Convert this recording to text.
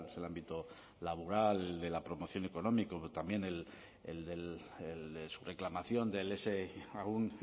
el ámbito laboral de la promoción económica también el de su reclamación de ese aún